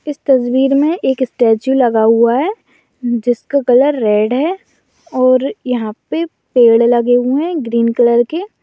इस तस्वीर मे एक सटेचू लगा हुआ है जिसका कलर रेड है और यहाँ पे पेड़ लगे हुए है ग्रीन कलर के --